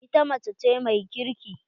Ita mace ce mai kirki.